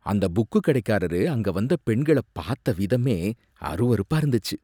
அந்த புக்குகடைக்காரரு அங்க வந்த பெண்கள பாத்த விதமே அருவருப்பா இருந்துச்சு.